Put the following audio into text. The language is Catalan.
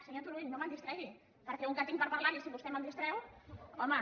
senyor turull no me’l distregui perquè un que en tinc per parlar si vostè me’l distreu home